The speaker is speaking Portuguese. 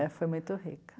É, foi muito rica.